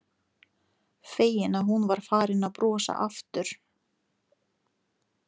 Feginn að hún var farin að brosa aftur.